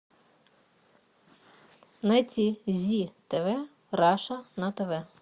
найти зи тв раша на тв